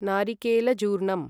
नारिकेलचूर्णम्